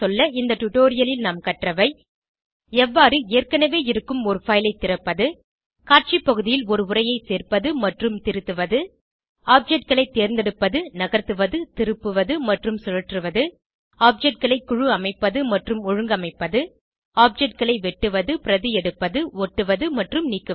இந்த டுடோரியலில் நாம் கற்றவை எவ்வாறு ஏற்கனவே இருக்கும் ஒரு பைல் ஐ திறப்பது காட்சி பகுதியில் ஒரு உரையை சேர்ப்பது மற்றும் மற்றும் திருத்துவது objectகளை தேர்ந்தெடுப்பது நகர்த்துவது திருப்புவது மற்றும் சுழற்றுவது Objectகளை குழு அமைப்பது மற்றும் ஒழுங்கமைப்பது objectகளை வெட்டுவது பிரதி எடுப்பது ஒட்டுவது மற்றும் நீக்குவது